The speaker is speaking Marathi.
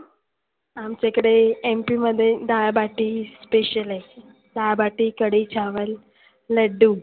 आमच्या इकडे MP मध्ये डाळ बाटी special आहे. डाळ बाटी, कढी चावल, लड्डु